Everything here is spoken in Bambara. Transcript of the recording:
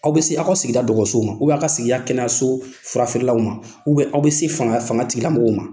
Aw bɛ se aw ka sigida dɔgɔso a ka sigiya kɛnɛyaso furafeerelaw ma a bɛ bɛ se fanga tigilamɔgɔw ma.